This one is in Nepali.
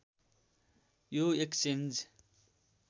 यो एक्सचेन्ज